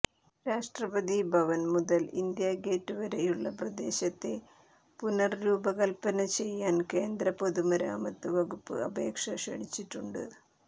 രാഷ്ട്രപതി ഭവൻ മുതൽ India Gate വരെയുള്ള പ്രദേശത്തെ പുനർരൂപകൽപ്പന ചെയ്യാൻ കേന്ദ്ര പൊതുമരാമത്ത് വകുപ്പ് അപേക്ഷ ക്ഷണിച്ചിട്ടുണ്ട്